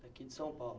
Daqui de São Paulo?